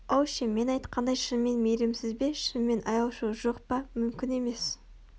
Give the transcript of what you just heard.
ол ше мен айтқандай шынымен мейірімсіз бе шынымен аяушылық жоқ па мүмкін емес